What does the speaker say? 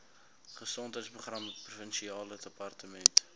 gesondheidsprogramme provinsiale departement